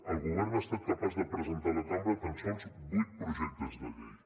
el govern ha estat capaç de presentar a la cambra tan sols vuit projectes de llei